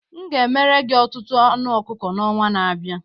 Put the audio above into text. M ga-emere gị ọtụtụ anụ ọkụkọ n'ọnwa na-abịa